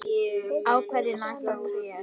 Á hverju nærast tré?